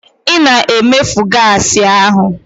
Ị na-emefu gaasị ahụ.